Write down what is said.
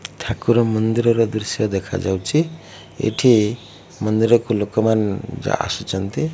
ଠାକୁର ମନ୍ଦିରର ଦୃଶ୍ୟ ଦେଖାଯାଉଛି ଏଠି ମନ୍ଦିରକୁ ଲୋକମାନେ ଯା ଆସିଚନ୍ତି।